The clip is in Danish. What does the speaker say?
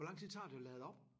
Hvor lang tid tager det at lade op?